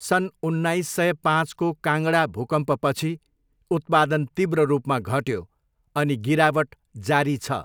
सन् उन्नाइस सय पाँचको काङ्गडा भूकम्पपछि उत्पादन तीव्र रूपमा घट्यो अनि गिरावट जारी छ।